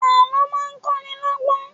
Àlọ́ máa ń kọ́ ni lọ́gbọ́n